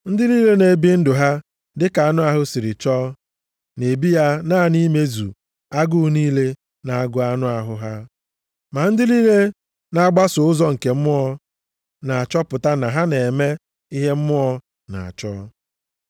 Ndị niile na-ebi ndụ ha dịka anụ ahụ siri chọọ, na-ebi ya naanị imezu agụụ niile na-agụ anụ ahụ ha. Ma ndị niile na-agbaso ụzọ nke Mmụọ na-achọpụta na ha na-eme ihe Mmụọ na-achọ.